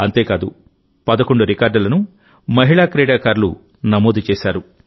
అంతేకాదు 11 రికార్డులను మహిళా క్రీడాకారులు నమోదు చేశారు